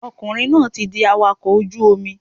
Ọkùnrin náà ti di awakọ̀ ojú Omi